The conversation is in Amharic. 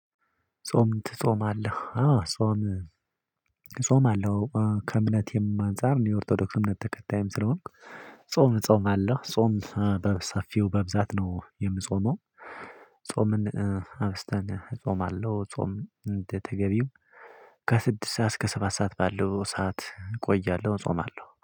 ጾም ትጾማለህ አዎ ጾም አጾመአለው ከእምነቴም አንፃር እኔ የኦርቶዶክስ እምነት ተከታይም ስለሆንኩ ጾም እጾም አለህ ጾም በሰፊው በብዛት ነው የምጾመው። ጾምን አብስተን እጾምአለው ጾም እንደተገቢው ከስድስ ሰዓት እስከ ሰባት ሰዓት ባለው ሰዓት እቆያለሁ እጾማለሁ